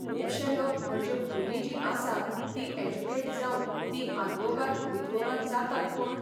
खूबशें लोक म्हणजे भुरगीं जी आसा तीं एजुकेट जावन ती आद्वोगाद बिद्वोगाद जातात पूण